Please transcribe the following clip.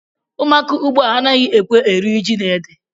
Ụmụaka ugbu a anaghị ekwe eri ji na ede